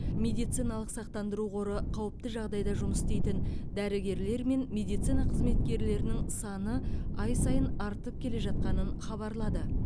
медициналық сақтандыру қоры қауіпті жағдайда жұмыс істейтін дәрігерлер мен медицина қызметкерлерінің саны ай сайын артып келе жатқанын хабарлады